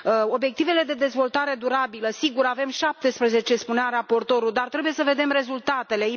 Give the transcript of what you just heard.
Obiectivele de dezvoltare durabilă sigur, sunt 17, spunea raportorul dar trebuie să vedem rezultatele.